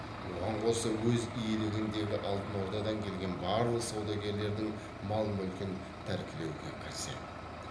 оған қоса өз иелігіндегі алтын ордадан келген барлық саудагерлердің мал мүлкін тәркілеуге кіріседі